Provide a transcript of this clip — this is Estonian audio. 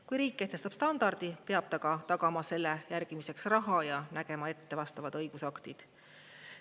Kui riik kehtestab standardi, peab ta ka tagama selle järgimiseks raha ja nägema ette vastavad õigusaktid.